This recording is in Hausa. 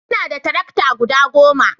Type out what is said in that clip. ina da tarakta guda goma